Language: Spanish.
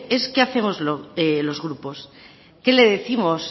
es qué hacemos los grupos qué le décimos